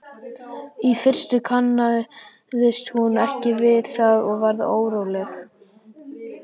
Í fyrstu kannaðist hún ekki við það og varð óróleg.